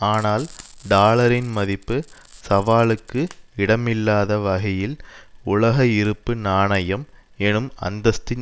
ஆனால் டாலரின் மதிப்பு சவாலுக்கு இடமில்லாத வகையில் உலக இருப்பு நாணயம் என்னும் அந்தஸ்தின்